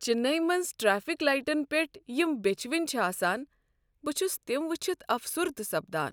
چننی منز ٹتیفک لایٹن پیٹھ یم بیچھوٕنۍ چھ آسان، بہ چھُس تم وچھِتھ افسردہ سپدان۔